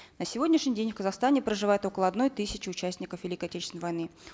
на сегодняшний день в казахстане проживает около одной тысячи участников великой отечественной войны